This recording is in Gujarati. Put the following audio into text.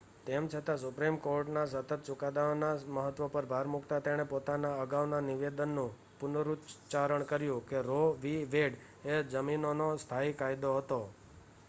"તેમ છતાં સુપ્રીમ કોર્ટના સતત ચુકાદાઓના મહત્વ પર ભાર મૂકતા તેણે પોતાના અગાઉના નિવેદનનું પુનરુચ્ચારણ કર્યું કે રો વિ. વેડ એ "જમીનનો સ્થાયી કાયદો" હતો.